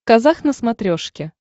казах на смотрешке